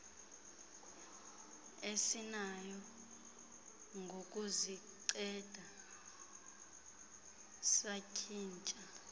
esinayo ngokuzinceda satshintsha